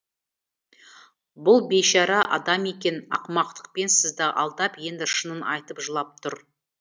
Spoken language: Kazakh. бұл бейшара адам екен ақымақтықпен сізді алдап енді шынын айтып жылап тұр